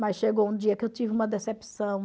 Mas chegou um dia que eu tive uma decepção.